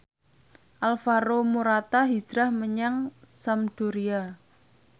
Alvaro Morata hijrah menyang Sampdoria